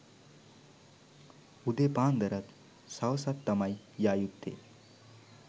උදේ පාන්දරත් සවසත් තමයි යා යුත්තේ.